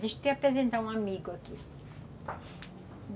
Deixa eu te apresentar um amigo aqui.